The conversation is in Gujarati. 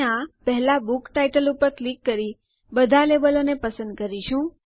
આપણે આ પહેલા બુક ટાઇટલ ઉપર ક્લિક કરી બધા લેબલો ને પસંદ કરી કરીશું